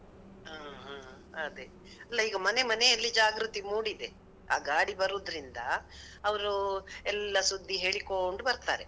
ಹ ಹ ಅದೆ, ಅಲ್ಲ ಈಗ ಮನೆ ಮನೆ ಅಲ್ಲಿ ಜಾಗ್ರತಿ ಮೂಡಿದೆ, ಆ ಗಾಡಿ ಬರುದ್ರಿಂದ, ಅವ್ರೂ ಎಲ್ಲ ಸುದ್ದಿ ಹೇಳಿಕೋಂಡ್ ಬರ್ತರೆ.